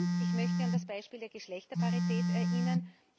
Und ich möchte an das Beispiel der Geschlechterparität erinnern.